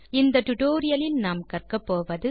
இந்த டுடோரியலின் முடிவில் செய்ய முடிவது